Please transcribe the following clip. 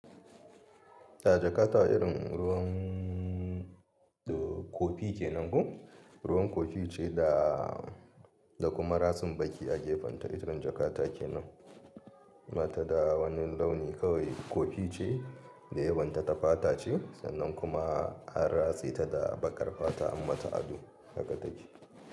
Da jakata irin ruwan kofi ke nan ko? Ruwan kofi ce da kuma ratsin baƙi a gefenta, irin jakata ke nan. Bata da wani launi kawai kofi ce da yawan ta ta fata ce, sannan kuma an ratse ta da baƙar fata an mata ado, haka take.